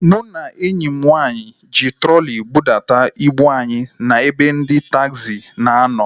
Mụ na enyi m nwaanyị ji trọli budata ibu anyị na ebe ndị taagzi na a nọ